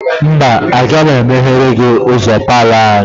Mba, agaghị m emepere gị ụzọ palọ anyị.